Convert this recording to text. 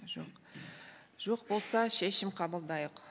жоқ жоқ болса шешім қабылдайық